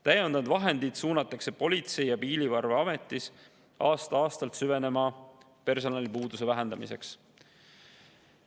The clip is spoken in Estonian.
Täiendavad vahendid suunatakse Politsei- ja Piirivalveametis aasta-aastalt süveneva personalipuuduse vähendamiseks.